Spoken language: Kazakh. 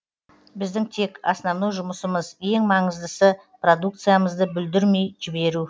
біздің тек основной жұмысымыз ең маңыздысы продукциямызды бүлдірмей жіберу